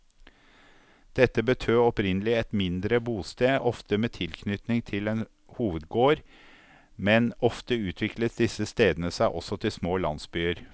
Dette betød opprinnelig et mindre bosted, ofte med tilknytning til en hovedgård, men ofte utviklet disse stedene seg også til små landsbyer.